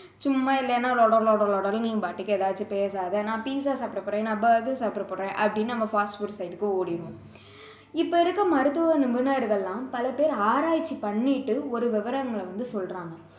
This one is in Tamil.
சும்மா இல்லைன்னா லொட லொட லொடன்னு நீ பாட்டுக்கு எதையாவது பேசாதே நான் pizza சாப்பிட போறேன் நான் burger சாப்பிட போறேன் அப்படின்னு நாம fast food side க்கு ஓடிடுவோம் இப்போ இருக்க மருத்துவ நிபுணர்கள் எல்லாம் பல பேர் ஆராய்ச்சி பண்ணிட்டு ஒரு விவரங்களை சொல்றாங்க